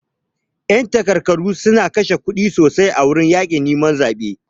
Yan takarkaru suna kashe kuɗi sosai a wajan yakin neman zabe.